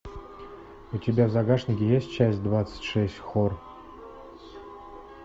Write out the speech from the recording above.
у тебя в загашнике есть часть двадцать шесть хор